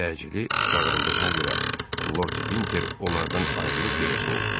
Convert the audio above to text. Təcili çağırıldığına görə Lord Vinter onlardan ayrılıb gedəsi oldu.